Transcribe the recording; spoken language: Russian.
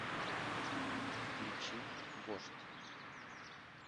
включи вождь